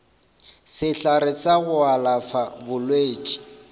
sehlare sa go alafa bolwetši